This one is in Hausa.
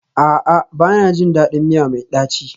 A'a, ba na jin daɗin miya mai ɗaci